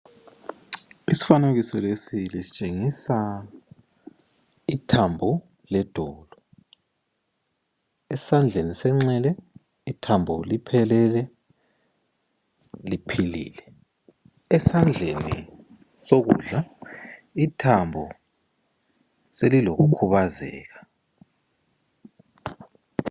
Isifanekiso lesi sitshengisa ithambo ledolo. Esandleni senxele ithambo liphelele, liphilile. Esandleni sokudla ithambo selilokukhubazeka.